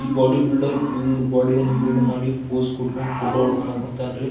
ಈ body builder full ಬೋಡಿಯನ್ನ build ಮಾಡಿ ಪೋಸ್ ಕೊಡ್ಕೊಂಡ್ ಫೋಟೋ ಹೊಡ್ಕೊಳ್ಳೊಕೆ ಹೊಂಟಾನ್ರೀ.